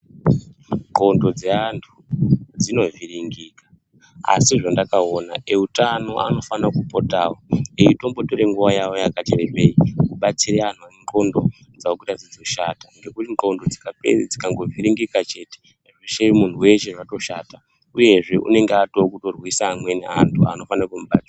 Ndxondo dzeantu dzinovhiringika, asi zvendakaona eutano anofana kupotawo eitombotore nguwa yavo yakati rebei kubatsira antu endxondo dzawo kuita dzechishata. Ngekuti ndxondo dzikape, dzikangovhiringika chete, zveshe muntu weshe zvatoshata. Uyezve unenge atove kutorwisa amweni antu anofane kumubatsira.